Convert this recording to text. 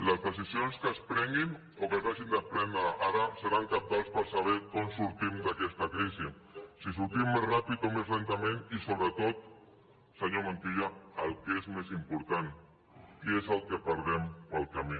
les decisions que es prenguin o que s’hagin de prendre ara seran cabdals per saber com sortim d’aquesta crisi si en sortim més ràpid o més lentament i sobretot senyor montilla el que és més important què és el que perdrem pel camí